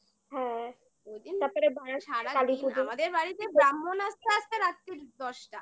হ্যাঁ তারপরে সারা কালীপুজো আমাদের বাড়িতে ব্রাহ্মণ আসতে আসতে রাত্রি দশটা